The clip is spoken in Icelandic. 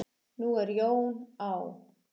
Nú er Jón á